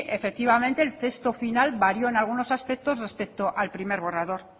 efectivamente el texto final varió en algunos aspectos respecto al primer borrador